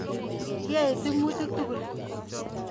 Kiyoe tyemutik.